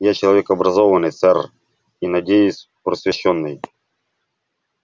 я человек образованный сэр и надеюсь просвещённый